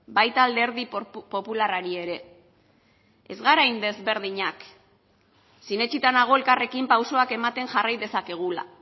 baita alderdi popularrari ere ez gara hain ezberdinak sinetsita nago elkarrekin pausuak ematen jarrai dezakegula